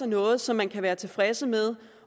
noget som man kan være tilfreds med